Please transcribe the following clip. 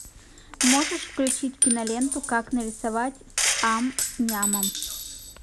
можешь включить киноленту как нарисовать с ам нямом